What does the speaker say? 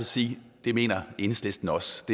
sige at det mener enhedslisten også